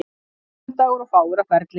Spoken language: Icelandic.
Mánudagur og fáir á ferli.